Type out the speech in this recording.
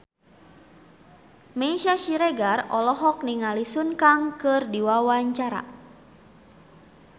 Meisya Siregar olohok ningali Sun Kang keur diwawancara